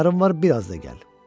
Hünərin var, biraz da gəl.